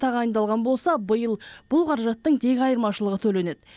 тағайындалған болса биыл бұл қаражаттың тек айырмашылығы төленеді